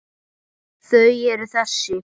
Þau eru þessi